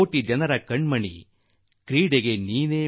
ಕೋಟಿ ಕೋಟಿ ಮನಗಳ ಸರದಾರ ನೀನು